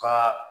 Ka